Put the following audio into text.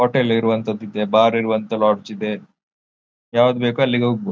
Hotel ಇರುವಂತಹದ್ದು ಇದೆ bar ಇರುವಂಹ ಲಾಡ್ಜ್ ಇದೆ ಯಾವುದು ಬೇಕೋ ಅಲ್ಲಿಗೆ ಹೋಗಬಹುದು.